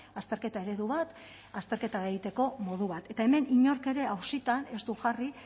azterketa eredu bat azterketa egiteko modu bat eta hemen inork ere auzitan ez du jarri